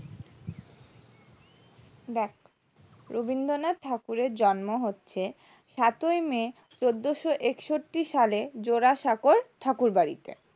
লেখ রবীন্দ্রনাথের ঠাকুরের জন্ম হচ্ছে সাত ই may চোদ্দোশো একষট্টি সাল জোড়াসাঁকোর ঠাকুর বাড়িতে